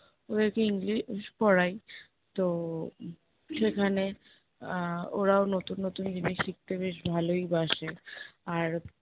ওদেরকে english পড়াই। তো উহ সেখানে আহ ওরাও নতুন নতুন জিনিস শিখতে বেশ ভালোই বাসে। আর